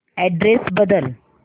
address बदल